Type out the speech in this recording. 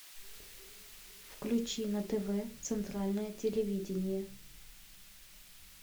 включи на тв центральное телевидение